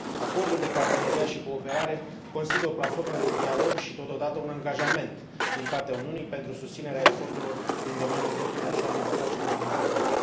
Acordul de parteneriat și cooperare constituie o platformă de dialog și, totodată, un angajament din partea Uniunii pentru susținerea eforturilor din domeniul drepturilor și al libertăților fundamentale.